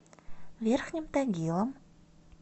верхним тагилом